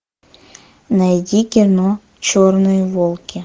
найди кино черные волки